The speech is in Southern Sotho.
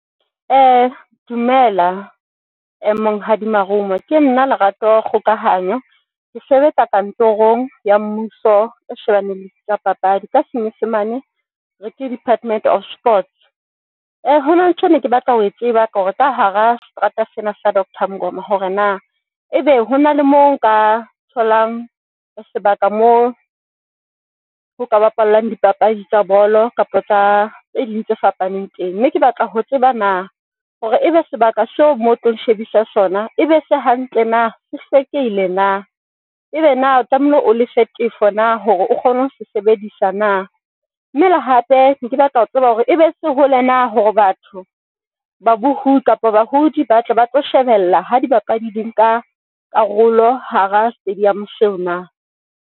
Dumela Monghadi Marumo.Ke nna Lerato Kgokahanyo.Ke sebetsa kantorong ya mmuso e shebaneng le tsa papadi. Ka senyesemane ke Department of Sports. Hona le ntho ene ke batla ho e tseba ka hore ka hara seterata sena sa Doctor Mngoma hore na ebe hona le mo nka tholang ho sebaka moo ho ka bapalwallang dipapadi tsa bolo kapa tsa tse ding tse fapaneng teng, mme ke batla ho tseba na hore ebe sebaka seo mo tlo nshebisang sona, ebe se hantle na se hlekehile na ebe na o tlamehile o lefe tefo na hore o kgone ho sebedisa na, mme le hape neke batla ho tseba hore ebe se hole na, hore batho ba bohudi kapa badudi ba tle ba tlo shebella ha dibapadi di ka nka karolo hara stadium seo na?